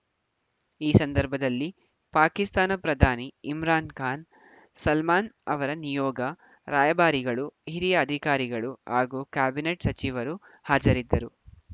ಈ ಸಂದರ್ಭದಲ್ಲಿ ಪಾಕಿಸ್ತಾನ ಪ್ರಧಾನಿ ಇಮ್ರಾನ್‌ ಖಾನ್‌ ಸಲ್ಮಾನ್‌ ಅವರ ನಿಯೋಗ ರಾಯಭಾರಿಗಳು ಹಿರಿಯ ಅಧಿಕಾರಿಗಳು ಹಾಗೂ ಕ್ಯಾಬಿನೆಟ್‌ ಸಚಿವರು ಹಾಜರಿದ್ದರು